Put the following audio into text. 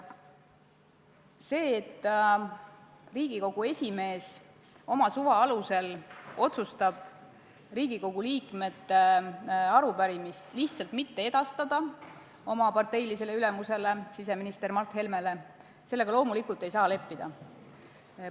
Sellega, et Riigikogu esimees otsustab oma suva alusel Riigikogu liikmete arupärimise oma parteilisele ülemusele siseminister Mart Helmele lihtsalt edastamata jätta, loomulikult leppida ei saa.